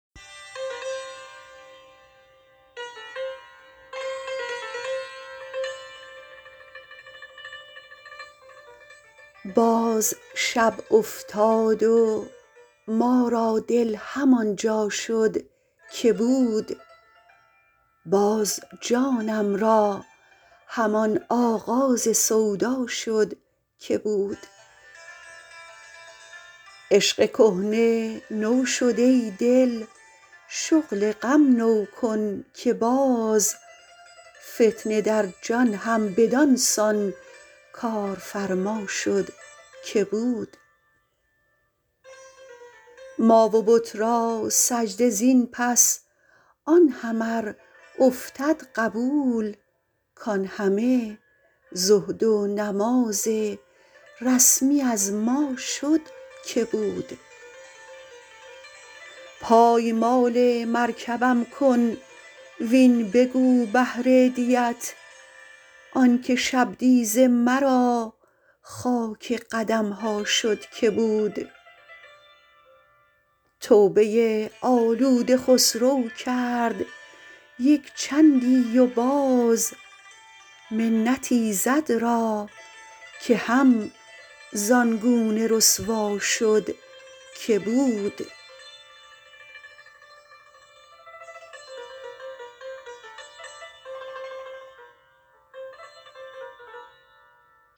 باز شب افتاد و ما را دل همان جا شد که بود باز جانم را همان آغاز سودا شد که بود عشق کهنه نو شد ای دل شغل غم نو کن که باز فتنه در جان هم بدانسان کارفرما شد که بود ما و بت را سجده زین پس آن هم ار افتد قبول کان همه زهد و نماز رسمی از ما شد که بود پایمال مرکبم کن وین بگو بهر دیت آنکه شبدیز مرا خاک قدمها شد که بود توبه آلوده خسرو کرد یک چندی و باز منت ایزد را که هم زانگونه رسوا شد که بود